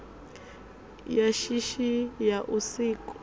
ya shishi ya u sikwa